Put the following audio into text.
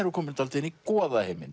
við komin dálítið inn í